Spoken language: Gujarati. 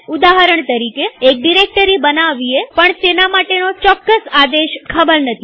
ઉદાહરણ તરીકેએક ડિરેક્ટરી બનાવીએપણ તેના માટેનો ચોક્કસ આદેશ ખબર નથી